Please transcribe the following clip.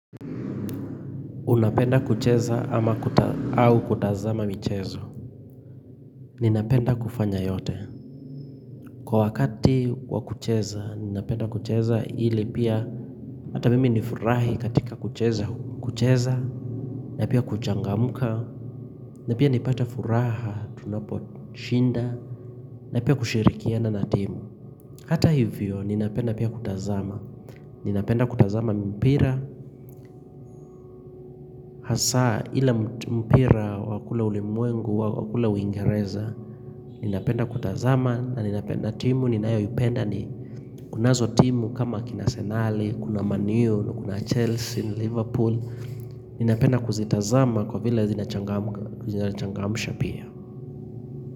Unapenda kucheza ama kuta au kutazama michezo Ninapenda kufanya yote, kwa wakati wa kucheza ninapenda kucheza ili pia, hata mimi nifurahi katika kucheza, kucheza na pia kuchangamka, na pia nipate furaha tunaposhinda na pia kushirikiana na timu Hata hivyo ninapenda pia kutazama Ninapenda kutazama mpira Hasaa ile mpira wa kule ulimwengu, wa kule uingereza ninapenda kutazama na ninapenda timu ninayoipenda ni kunazo timu kama kina Arsenali kuna Manu, na kuna Chelsea, Liverpool ninapenda kuzitazama kwa vila zinachangamsha pia.